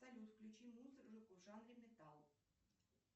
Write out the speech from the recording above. салют включи музыку в жанре металл